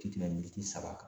Ti tɛmɛ miniti saba kan.